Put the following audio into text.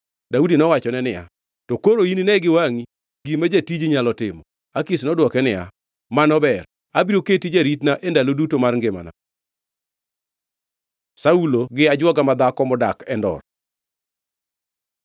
Daudi nowachone niya, “To koro inine gi wangʼi gima jatiji nyalo timo.” Akish nodwoke niya, “Mano ber, abiro keti jaritna e ndalo duto mar ngimana.” Saulo gi ajwoga madhako modak Endor